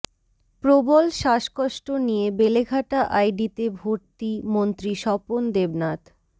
প্রবল শ্বাসকষ্ট নিয়ে বেলেঘাটা আইডিতে ভর্তি মন্ত্রী স্বপন দেবনাথ